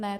Ne.